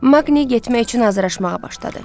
Maqni getmək üçün hazırlaşmağa başladı.